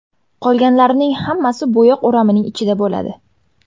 Qolganlarining hammasi bo‘yoq o‘ramining ichida bo‘ladi.